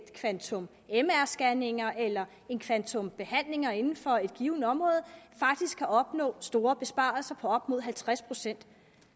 et kvantum mr scanninger eller et kvantum behandlinger inden for et givent område faktisk kan opnå store besparelser på op mod halvtreds procent